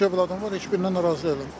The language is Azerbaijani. İki övladım var, heç birindən narazı deyiləm.